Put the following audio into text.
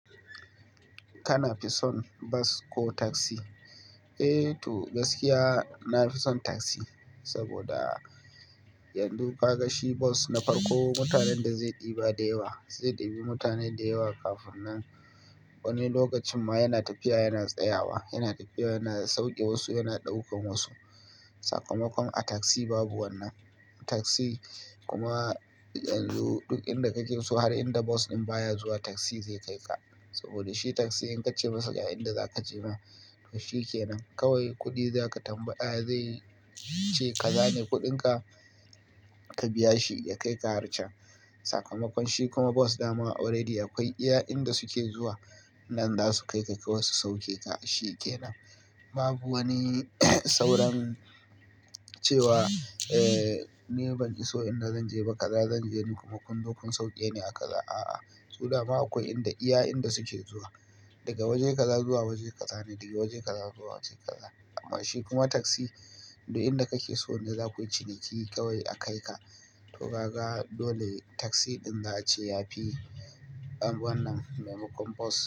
Kana fi son bas ko taksi? Eee to gaskiya nafison taksi saboda yanzu ka ga shi bas na farko mutanen da zai ɗiba da yawa, zai ɗibi mutane da yawa kafinnan wani lokacin ma yana tafiya yana tsayawa, yana tafiya yana sauke wasu yana ɗaukan wasu. Sakamakon a taksi babu wannan. Taksi kuma yanzu duk inda kake so har inda bas ɗin baya zuwa taksi zai kai ka saboda shi taksi in ka ce masa a inda zaka je ma to shi kenan kawai kuɗi zaka tambaya zai ce ka zane kuɗinka ka biya shi ya kai ka har can. Sakamakon shi kuma bas dama already akwai iya'inda suke zuwa nan za su kai ka kawai su sauke ka shi kenan. Babu wani sauran cewa eee ni ban iso inda zanje ba kaza zanje ni kuma kunzo kun sauke ni a kaza a'a. Suda ba akwai inda iya'inda suke zuwa. Daga waje kaza zuwa waje kaza ne, daga waje kaza zuwa waje kaza. Amma shi kuma taksi duk inda kake so ne zakuyi ciniki kawai a kai ka. To kaga dole taksi din za a ce yafi wannan maimakon bas.